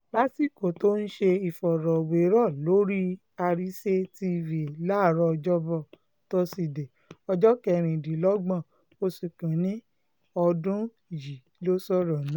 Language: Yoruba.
lásìkò um tó ń ṣe ìfọ̀rọ̀wérọ̀ lórí àrísé tv láàárọ̀ ọjọ́bọ̀ tóṣìdẹ̀ẹ́ ọjọ́ kẹrìndínlọ́gbọ̀n oṣù kín-ín-ní ọdún um yìí ló sọ̀rọ̀ náà